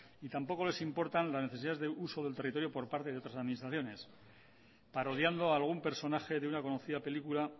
y tampoco les importan las necesidades de uso del territorio por parte de otras administraciones parodiando a algún personaje de una conocida película